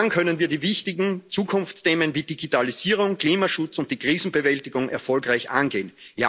Nur dann können wir die wichtigen Zukunftsthemen wie Digitalisierung, Klimaschutz und die Krisenbewältigung erfolgreich angehen.